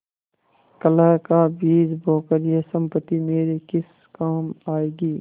कलह का बीज बोकर यह सम्पत्ति मेरे किस काम आयेगी